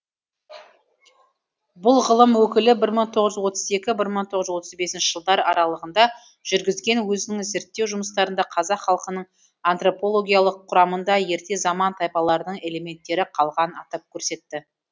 бұл ғылым өкілі бір мың тоғыз жүз отыз екі бір мың тоғыз жүз отыз бесінші жылдар аралығында жүргізген өзінің зерттеу жұмыстарында қазақ халқының антропологиялық құрамында ерте заман тайпаларының элементтері қалғанын атап көрсетті